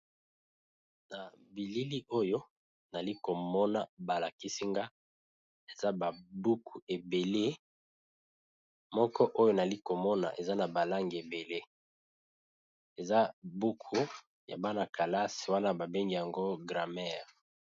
Na bilili oyo nali komona balakisinga eza babuku ebele moko oyo nali komona eza na balange ebele eza buku ya bana-kalasi wana babengi yango gramere.